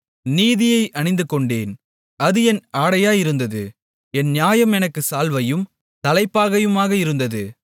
நீதியை அணிந்துகொண்டேன் அது என் ஆடையாயிருந்தது என் நியாயம் எனக்குச் சால்வையும் தலைப்பாகையுமாக இருந்தது